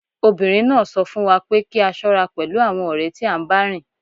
Obìnrin náà sọ fún wa pé kí a ṣọ́ra pẹ̀lú àwọn ọ̀rẹ́ tí à ń bá rìn